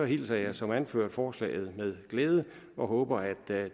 hilser jeg som anført forslaget med glæde og håber at